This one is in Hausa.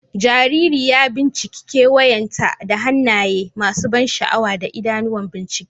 Jariri ya binciki kewayenta da hannaye masu ban sha'awa da idanuwan bincike,